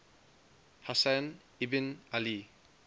husayn ibn ali